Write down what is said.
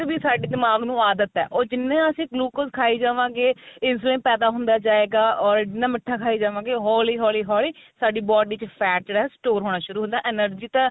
ਵੀ ਸਾਡੀ ਦਿਮਾਗ ਨੂੰ ਆਦਤ ਏ ਜਿੰਨਾ ਅਸੀਂ glucose ਖਾਈ ਜਾਵਾਗੇ insulin ਪੈਦਾ ਹੁੰਦਾ ਜਾਏਗਾ ਓਈ ਜਿੰਨਾ ਮਿੱਠਾ ਖਾਈ ਜਾਵਾਗੇ ਹੋਲੀ ਹੋਲੀ ਹੋਲੀ ਸਾਡੀ body ਚ fat ਜਿਹੜਾ store ਹੋਣਾ ਸ਼ੁਰੂ ਹੋ ਹੁੰਦਾ energy ਤਾਂ